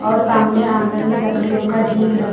और सामने आंगन में लकड़ियों का ढीक रख--